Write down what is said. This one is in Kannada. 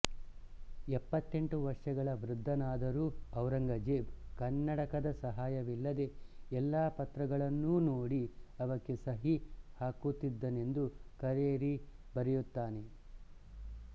ಎಪ್ಪತ್ತೆಂಟು ವರ್ಷಗಳ ವೃದ್ಧನಾದರೂ ಔರಂಗ್ಜೇಬ್ ಕನ್ನಡಕದ ಸಹಾಯವಿಲ್ಲದೆ ಎಲ್ಲ ಪತ್ರಗಳನ್ನೂ ನೋಡಿ ಅವಕ್ಕೆ ಸಹಿ ಹಾಕುತ್ತಿದ್ದನೆಂದು ಕರೇರಿ ಬರೆಯುತ್ತಾನೆ